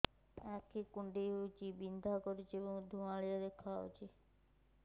ଆଖି କୁଂଡେଇ ହେଉଛି ବିଂଧା କରୁଛି ଏବଂ ଧୁଁଆଳିଆ ଦେଖାଯାଉଛି